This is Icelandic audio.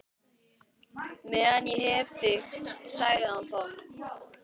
Meðan ég hef þig sagði hann þá.